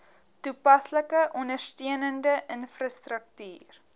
toepaslike ondersteunende infrastruktuur